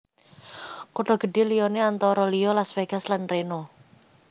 Kutha gedhé liyané antara liya Las Vegas lan Reno